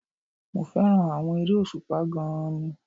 Mo fẹ́ràn àwọn eré òṣùpá gan-an ni